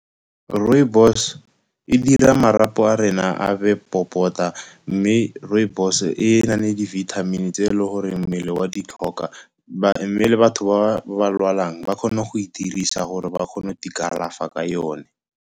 Rooibos e dira marapo a rena a be popota, mme rooibos e na le di-vitamin-e tse e le goreng mmele wa di tlhoka. Mme le batho ba lwalang ba kgona go e dirisa gore ba kgone go te kalafa ka yone.